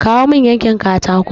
Kawo mun yankin katako!